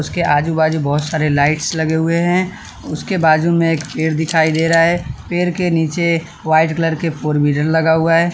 उसके आजू बाजू बहुत सारे लाइट्स लगे हुए हैं उसके बाजू में एक पेड़ दिखाई दे रहा है पेड़ के नीचे वाइट कलर के फोर व्हीलर लगा हुआ है।